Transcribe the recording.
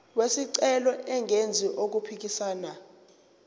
wesicelo engenzi okuphikisana